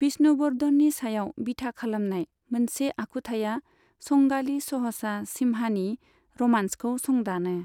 बिष्णुवर्धननि सायाव बिथा खालामनाय मोनसे आखुथाया संगालि सहसा सिम्हानि रमांसखौ संदानो।